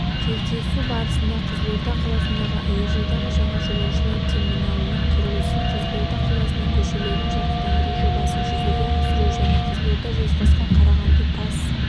кездесу барысында қызылорда қаласындағы әуежайдың жаңа жолаушылар терминалының құрылысы қызылорда қаласының көшелерін жарықтандыру жобасын жүзеге асыру және қызылорда-жезқазған-қарағанды тас